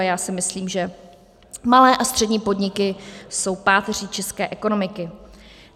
A já si myslím, že malé a střední podniky jsou páteří české ekonomiky.